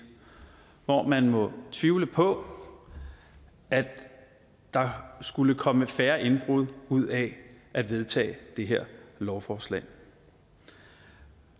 hvor man må tvivle på at der skulle komme færre indbrud ud af at vedtage det her lovforslag